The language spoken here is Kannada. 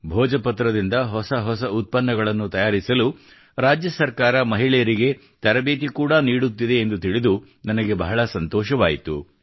ಭೋಜಪತ್ರದಿಂದ ಹೊಸ ಹೊಸ ಉತ್ಪನ್ನಗಳನ್ನು ತಯಾರಿಸಲು ರಾಜ್ಯ ಸರ್ಕಾರ ಮಹಿಳೆಯರಿಗೆ ತರಬೇತಿ ಕೂಡಾ ನೀಡುತ್ತಿದೆ ಎಂದು ತಿಳಿದು ನನಗೆ ಬಹಳ ಸಂತೋಷವಾಯಿತು